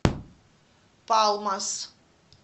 палмас